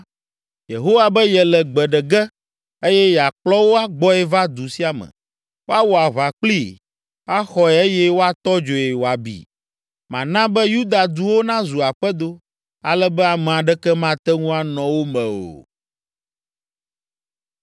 Yehowa be yele gbe ɖe ge, eye yeakplɔ wo agbɔe va du sia me. Woawɔ aʋa kplii, axɔe eye woatɔ dzoe wòabi. Mana be Yuda duwo nazu aƒedo, ale be ame aɖeke mate ŋu anɔ wo me o.”